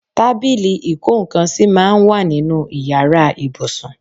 Tábìlì ìkó nńkan sì máa ń wà nínú ìyára ibùsùn.